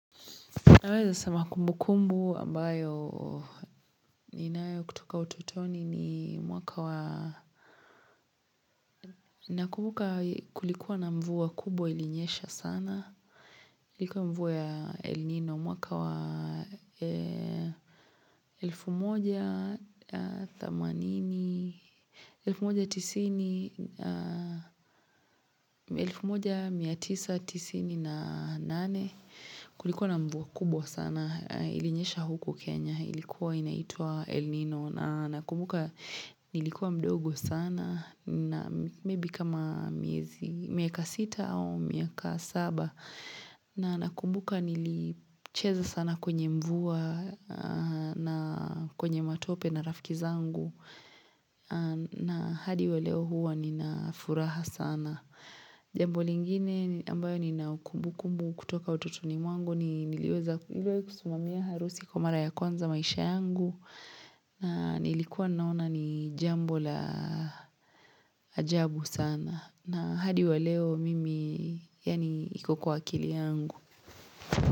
Naweza sema kumbukumbu ambayo ninayo kutoka ututoni ni mwaka wa Nakumbuka kulikuwa na mvua kubwa ilinyesha sana Kulikuwa mvua ya elnino, mwaka wa elfu moja, thamanini, elfu moja, tisini, elfu moja, mia tisa, tisini na nane Kulikuwa na mvua kubwa sana ilinyesha huku Kenya ilikuwa inaitwa El Nino na nakumbuka nilikuwa mdogo sana na maybe kama miaka 6 au miaka 7 na nakumbuka nilicheza sana kwenye mvua na kwenye matope na rafiki zangu na hadi waleo huwa nina furaha sana jambo lingine ambayo ninaukumbukumbu kutoka ututoni mwangu niliweza kusimamia harusi kwa mara ya kwanza maisha yangu na nilikuwa naona ni jambo la ajabu sana na hadi wa leo mimi yaani iko kwa akili yangu.